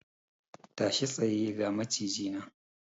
Tashi tsaye! ga Maciji nan!